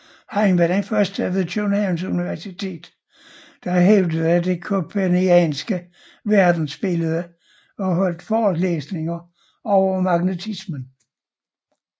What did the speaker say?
Han var den første ved Københavns Universitet der hævdede det kopernikanske verdensbillede og holdt forelæsninger over magnetismen